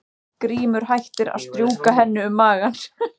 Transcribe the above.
Grímur hættir að strjúka henni um magann.